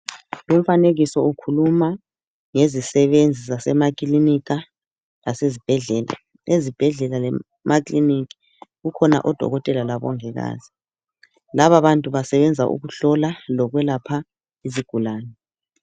Lumfanekiso ukhuluma ngezisebenzi zasemakilinika, lasezibhedlela. Ezibhedlela, lemakiliniki, kukhona odokotela, labongikazi. Lababantu, basebenza ukuhlola, lokwelapha, izigulane.